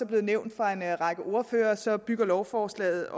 blevet nævnt fra en række ordføreres side bygger lovforslaget